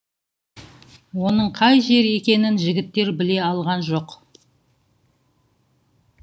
оның қай жер екенін жігіттер біле алған жоқ